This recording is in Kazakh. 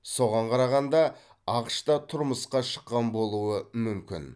соған қарағанда ақш та тұрмысқа шыққан болуы мүмкін